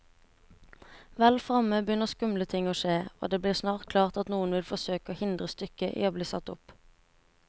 Vel fremme begynner skumle ting å skje, og det blir snart klart at noen vil forsøke å hindre stykket i bli satt opp.